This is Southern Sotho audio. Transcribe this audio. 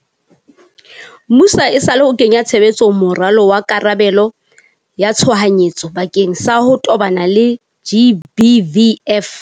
muso esale o kenya tshebetsong moralo wa karabelo ya tshohanyetso bakeng sa ho tobana le GBVF.